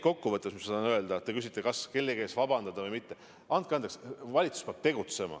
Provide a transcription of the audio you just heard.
Kokkuvõttes tahan ma öelda seda, et kui te küsite, kas kellegi ees vabandada või mitte, siis andke andeks, valitsus peab tegutsema.